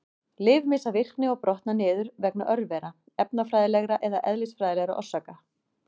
Lyf missa virkni og brotna niður vegna örvera, efnafræðilegra eða eðlisfræðilegra orsaka.